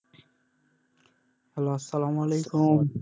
Hello আসালাম ওয়ালিকুম।